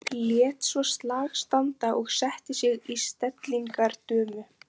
Lét svo slag standa og setti sig í stellingar dömu.